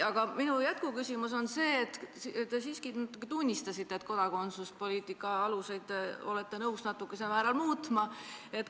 Aga minu jätkuküsimus on seotud sellega, et te siiski tunnistasite, et olete kodakondsuspoliitika aluseid nõus natukesel määral muutma.